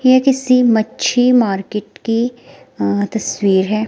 ये किसी मच्छी मार्केट की अह तस्वीर है।